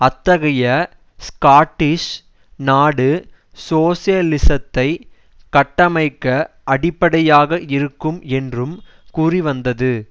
அத்தகைய ஸ்காட்டிஷ் நாடு சோசலிசத்தை கட்டமைக்க அடிப்படையாக இருக்கும் என்றும் கூறிவந்தது